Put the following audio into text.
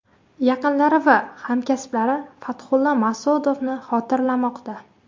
Yaqinlari va hamkasblari Fathulla Mas’udovni xotirlamoqda.